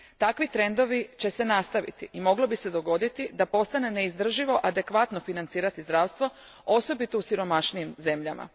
Takvi trendovi će se nastaviti i moglo bi se dogoditi da postane neizdrživo adekvatno financirati zdravstvo osobito u siromašnijim zemljama.